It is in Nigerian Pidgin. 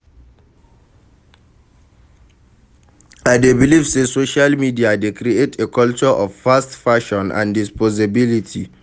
I dey believe say social media dey create a culture of fast fashion and disposability.